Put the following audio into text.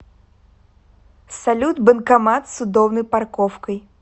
салют банкомат с удобной парковкой